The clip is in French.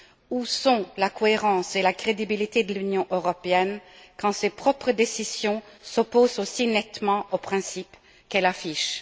Où sont la cohérence et la crédibilité de l'Union européenne quand ses propres décisions s'opposent aussi nettement aux principes qu'elle affiche?